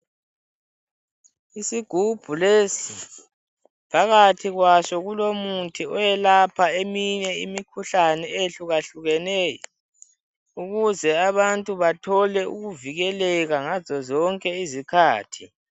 Isigubhu lesi phakathi kwaso kulomuthi oyelapha eminye imikhuhlane eyehlukahlukeneyo ukuze abantu bathole ukuvikeleka ngazozonke izikhathi.